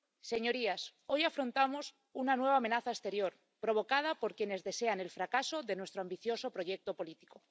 Señorías, hoy afrontamos una nueva amenaza exterior, provocada por quienes desean el fracaso de nuestro ambicioso proyecto político.